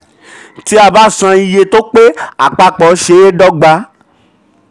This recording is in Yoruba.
tí a bá san iye tó pé àpapọ̀ ṣeé dọ́gba.